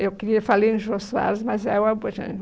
Eu queria, falei em Jô Soares, mas é o Abujamra.